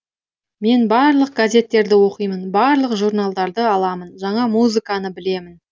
мен барлық газеттерді оқимын барлық журналдарды аламын жаңа музыканы білемін